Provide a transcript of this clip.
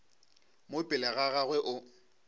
mo pele ga gagwe o